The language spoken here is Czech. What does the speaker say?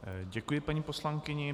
Děkuji paní poslankyni.